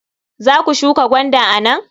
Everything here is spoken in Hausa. Za ku shuka gwanda a nan?